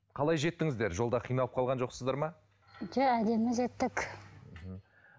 қалай жеттіңіздер жолда қиналып қалған жоқсыздар ма жоқ әдемі жеттік